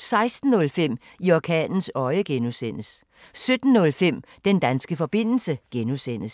16:05: I orkanens øje (G) 17:05: Den danske forbindelse (G)